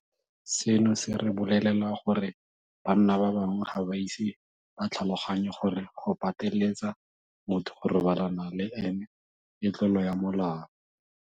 Seno se re bolelela gore banna ba bangwe ga ba ise ba tlhaloganye gore go pateletsa motho go robalana le ene ke tlolo ya molao.